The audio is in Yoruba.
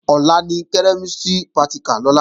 Ọ̀la ni kẹ́mísìrì pratìkà Lọlá